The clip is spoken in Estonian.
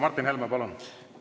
Martin Helme, palun!